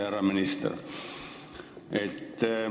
Härra minister!